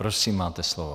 Prosím, máte slovo.